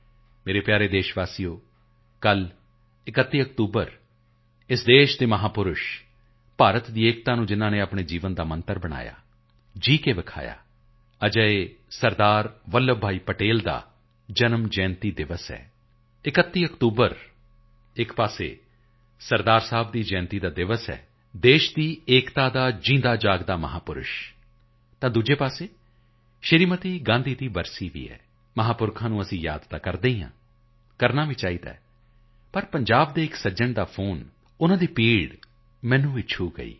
ਮੇਰੇ ਪਿਆਰੇ ਦੇਸ਼ਵਾਸੀਓ ਕੱਲ 31 ਅਕਤੂਬਰ ਇਸ ਦੇਸ਼ ਦੇ ਮਹਾਪੁਰਸ਼ਭਾਰਤ ਦੀ ਏਕਤਾ ਨੂੰ ਹੀ ਜਿਨ੍ਹਾਂ ਨੇ ਆਪਣੇ ਜੀਵਨ ਦਾ ਮੰਤਰ ਬਣਾਇਆ ਜੀ ਕੇ ਦਿਖਾਇਆਅਜਿਹੇ ਸਰਦਾਰ ਵੱਲਭ ਭਾਈ ਪਟੇਲ ਦਾ ਜਨਮ ਜਯੰਤੀ ਪਰਵ ਹੈ 31 ਅਕਤੂਬਰ ਇੱਕ ਤਰਫ਼ ਸਰਦਾਰ ਸਾਹਿਬ ਦੀ ਜਯੰਤੀ ਦਾ ਪਰਵ ਹੈ ਦੇਸ਼ ਦੀ ਏਕਤਾ ਦਾ ਜਿਊਂਦਾ ਜਾਗਦਾ ਮਹਾਪੁਰਸ਼ ਤਾਂ ਦੂਜੀ ਤਰਫ਼ ਸ਼੍ਰੀਮਤੀ ਇੰਦਰਾ ਗਾਂਧੀ ਦੀ ਬਰਸੀ ਵੀ ਹੈ ਮਹਾਪੁਰਸ਼ਾਂ ਨੂੰ ਯਾਦ ਤਾਂ ਅਸੀਂ ਕਰਦੇ ਹੀ ਹਾਂ ਕਰਨਾ ਵੀ ਚਾਹੀਦਾ ਹੈ ਪਰ ਪੰਜਾਬ ਦੇ ਇੱਕ ਸੱਜਣ ਦਾ ਫੋਨ ਉਨ੍ਹਾਂ ਦੀ ਪੀੜਾ ਮੈਨੂੰ ਵੀ ਛੂਹ ਗਈ